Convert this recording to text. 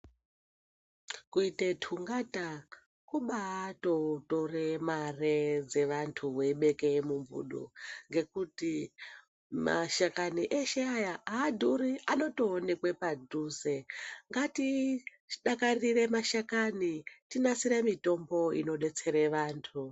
Kuite tungata kubatotore mare dzevantu weibeke mumbudu ngekuti mashakani eshe aya adhuri anotoonekwe padhuze ngatidakarire mashakani tinasire mitombo inodetsere vantu.